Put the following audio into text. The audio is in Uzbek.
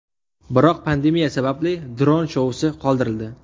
Biroq pandemiya sababli dronlar shousi qoldirildi.